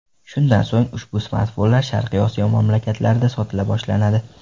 Shundan so‘ng, ushbu smartfonlar Sharqiy Osiyo mamlakatlarida sotila boshlanadi.